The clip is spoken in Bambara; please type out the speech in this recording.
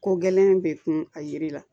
Ko gɛlɛn in bɛ kun a yiri la